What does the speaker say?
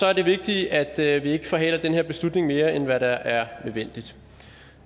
er det vigtigt at at vi ikke forhaler den her beslutning mere end hvad der er nødvendigt